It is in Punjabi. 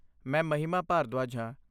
ਮੈਂ ਮਹਿਮਾ ਭਾਰਦਵਾਜ ਹਾਂ।